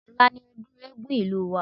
Ọ̀la ni ọdún Eégún ìlú wa